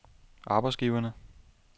arbejdsgiverne